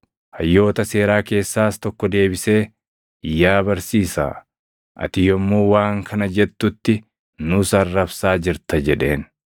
Hayyoota seeraa keessaas tokko deebisee, “Yaa Barsiisaa, ati yommuu waan kana jettutti nuus arrabsaa jirta!” jedheen.